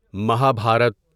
Maha Bharat